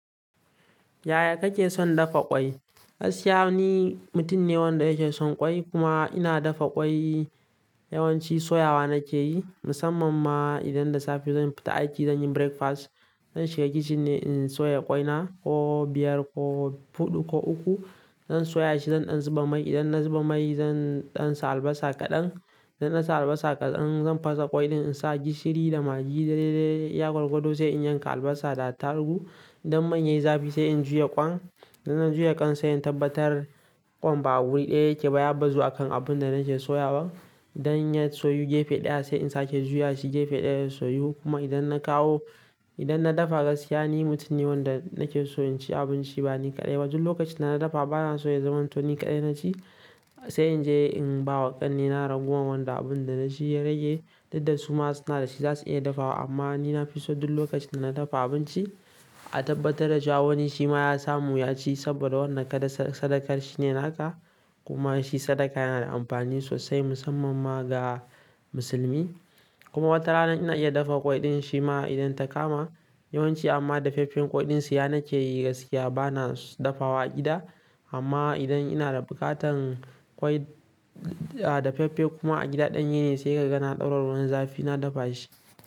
Yaya kake son dafa ƙwai? Gaskiya ni mutum ne wanda yake son ƙwai kuma ina dafa ƙwai yawanci soyawa nake yi. Musamman ma idan da safe zan fita aiki, zan yi breakfast, zan shiga kicin ne in soya ƙwai na, ko biyar ko huɗu ko uku. Zan soya shi, zan ɗan zuba mai. Idan na zuba mai, zan ɗan sa albasa kaɗan. Idan na sa albasa kaɗan, zan fasa ƙwai ɗin in sa gishiri da magi dai dai iya gwargwado sai in yanka albasa da attarugu. Idan man ya yi zafi sai in juya ƙwan. Idan na juya ƙwan sai in tabbatar ƙwan ba wuri ɗaya yake ba, ya bazu akan abun da nake soyawa. Idan ya soyu gefe ɗaya sai in sake juya shi gefe ɗaya ya soyu. Kuma idan na kawo, idan na dafa gaskiya ni mutum ne wanda nake so in ci abinci ba ni kaɗai ba. Duk lokacin da na dafa bana so ya zamanto ni kaɗai na ci sai in je in ba wa ƙannena ragowar wanda abun da na ci ya rage. Didda su ma suna da shi za su iya dafawa amma ni na fi so duk lokacin da na dafa abinci a tabbatar da cewa wani shi ma ya samu ya ci saboda wanda kai sadaka shine naka. Kuma shi sadaka yana da amfani sosai musamman ma ga musulmi. Kuma wata rana ina iya dafa ƙwai ɗin shi ma idan ta kama. Yawanci amma dafaffen ƙwai ɗin siya na ke yi gaskiya bana dafawa a gida. Amma idan ina da buƙatar ƙwai, a dafaffe kuma a gida ɗanye ne sai ka ga na ɗaura ruwan zafi na dafa shi.